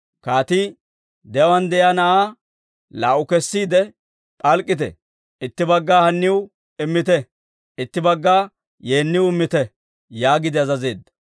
Kaatii, «De'uwaan de'iyaa na'aa laa"u kessiide p'alk'k'ite; itti bagga haniw immite; itti bagga yeeniw immite» yaagiide azazeedda.